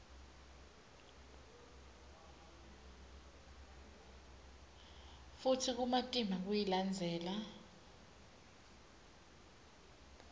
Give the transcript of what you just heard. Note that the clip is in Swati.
futsi kumatima kuyilandzela